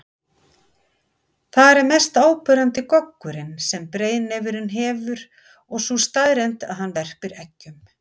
Þar er mest áberandi goggurinn sem breiðnefurinn hefur og sú staðreynd að hann verpir eggjum.